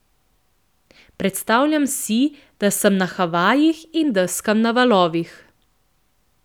Predstavljam si, da sem na Havajih in deskam na valovih.